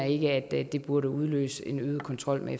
ikke at det det burde udløse en øget kontrol med